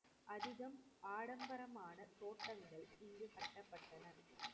அதிகம் ஆடம்பரமான தோட்டங்கள் இங்க கட்டப்பட்டன.